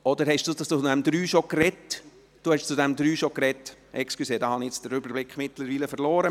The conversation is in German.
Oder haben Sie zu diesem Absatz 3 bereits gesprochen?